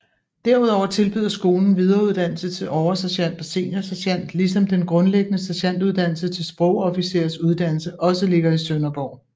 Derudover tilbyder skolen videreuddannelse til oversergent og seniorsergent ligesom den grundlæggende sergentuddannelse til sprogofficersuddannelse også ligger i Sønderborg